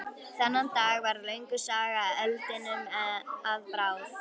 Þennan dag varð löng saga eldinum að bráð.